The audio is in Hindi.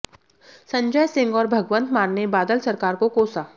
संजय सिंह और भगवंत मान ने बादल सरकार को कोसा